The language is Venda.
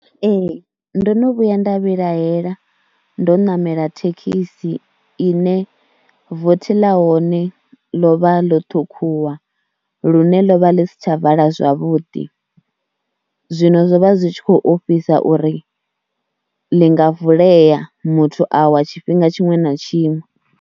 Ee ndo no vhuya nda vhilahela ndo namela thekhisi ine vothi ḽa hone ḽo vha ḽo ṱhukhuwa lune ḽo vha ḽi si tsha vala zwavhuḓi, zwino zwo vha zwi tshi khou ofhisa uri ḽi nga vulea muthu a wa tshifhinga tshiṅwe na tshiṅwe.